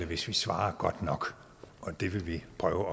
hvis vi svarer godt nok og det vil vi prøve